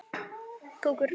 Elsku Edda.